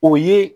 O ye